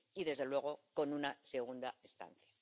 Y, desde luego, con una segunda instancia.